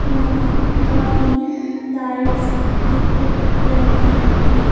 यहां काफी लाइट्स दिख रही हैं।